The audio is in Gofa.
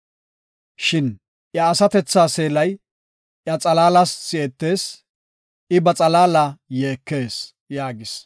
Shin iya asatethaa seelay iya xalaalas si7etees; I ba xalaalas yeekees” yaagis.